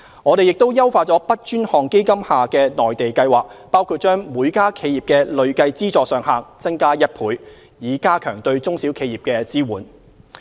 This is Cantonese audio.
我們亦優化 BUD 專項基金下的內地計劃，包括把每家企業的累計資助上限增加1倍，以加強對中小企業的支援。